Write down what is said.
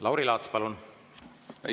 Lauri Laats, palun!